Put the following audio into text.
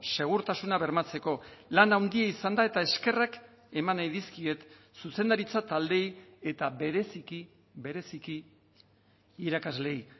segurtasuna bermatzeko lan handia izan da eta eskerrak eman nahi dizkiet zuzendaritza taldeei eta bereziki bereziki irakasleei